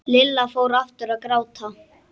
Lilla fór aftur að gráta.